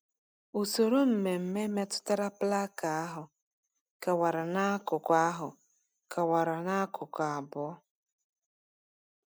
Usoro mmemme metụtara plaka ahụ kewara n’akụkụ ahụ kewara n’akụkụ abụọ.